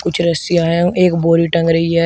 कुछ रस्सियां है एक बोरी टंग रही है।